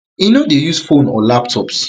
e no dey use phones or laptops